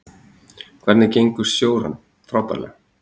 Hvernig gengur stjóranum: Frábærlega.